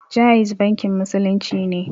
Ja'iz bankin musulunci ne